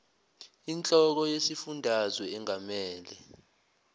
inhloko yesifundazwe engamele